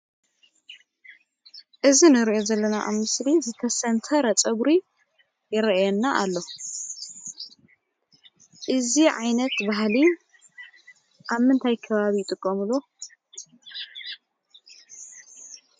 እዚ እንሪኦ ዘለና ኣብ ምስሊ ዝተሰንተረ ፀጉሪ ይርአየና ኣሎ። እዚ ዓይነት ባህሊ ኣብ ምንታይ ከባቢ ይጥቀምሉ?